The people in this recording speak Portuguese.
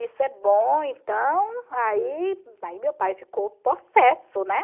Isso é bom, então, aí aí meu pai ficou possesso, né?